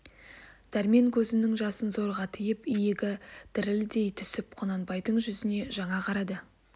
дәрмен көзнің жасын зорға тыйып иегі дірлдей түсіп құнанбайдың жүзне жаңа қарады